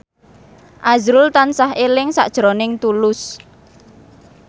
azrul tansah eling sakjroning Tulus